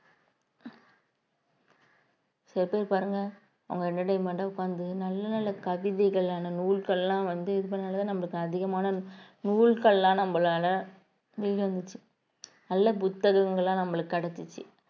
சில பேர் பாருங்க அவங்க entertainment ஆ உட்கார்ந்து நல்ல நல்ல கவிதைகளான நூல்கள் எல்லாம் வந்து இது பண்ணாலேதான் நமக்கு அதிகமான நூல்கள் எல்லாம் நம்மளால நல்ல புத்தகங்கள்லாம் நம்மளுக்கு கிடைச்சுச்சு